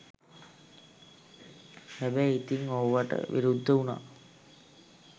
හැබැයි ඉතිං ඕවට විරුද්ධ උනා